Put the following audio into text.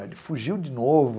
Ele fugiu de novo.